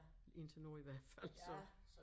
Indtil nu i hvert fald så